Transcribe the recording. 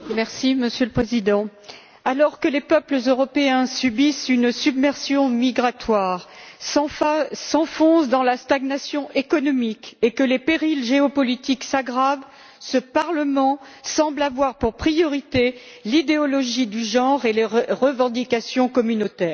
Monsieur le Président, alors que les peuples européens subissent une submersion migratoire et s'enfoncent dans la stagnation économique, et que les périls géopolitiques s'aggravent, ce Parlement semble avoir pour priorité l'idéologie du genre et les revendications communautaires.